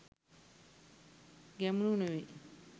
ගැමුණු නෙවෙයි